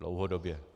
Dlouhodobě.